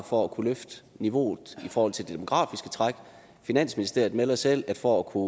for at kunne løfte niveauet i forhold til det demografiske træk finansministeriet melder selv at for at kunne